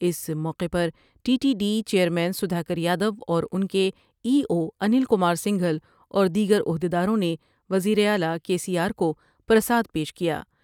اس موقع پر T T D chairman Sudhakar Yadav اوران کے ای اوانیل کمار کھل اور دیگر عہدیداروں نے وزیراعلی کے سی آرکو پرساد پیش کیا ۔